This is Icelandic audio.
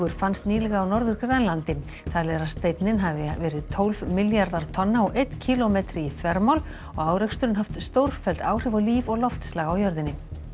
fannst nýlega á Norður Grænlandi talið er að steinninn hafi verið tólf milljarðar tonna og einn kílómetri í þvermál og áreksturinn haft stórfelld áhrif á líf og loftslag á jörðinni